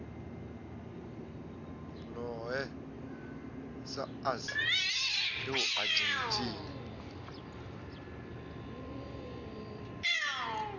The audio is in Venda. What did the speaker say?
lohe sa us eu argentina